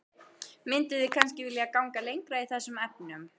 Mynduð þið kannski vilja ganga lengra í þessum efnum?